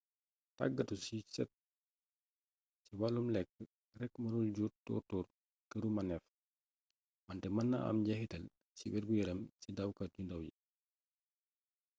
tàggatu yu set ci wàllum lekk rekk mënul jur tóor-tóor këru maneef wante mën na am njexitaal ci wergu yaram ci dawkat yu ndaw yi